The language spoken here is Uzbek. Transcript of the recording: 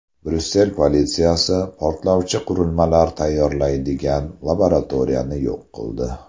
Bryussel politsiyasi portlovchi qurilmalar tayyorlanadigan laboratoriyani yo‘q qildi.